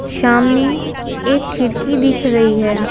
सामने एक खिड़की दिख रही है।